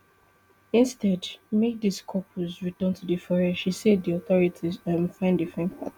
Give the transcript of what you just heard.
instead make di couples return to di forest she say di authorities um find different path